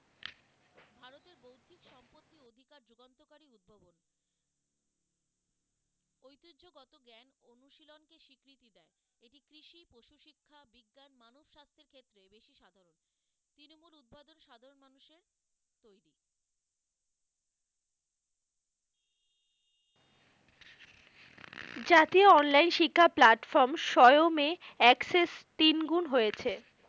জাতীয় online শিক্ষা platform সোয়মে access তিন গুণ হয়েছে।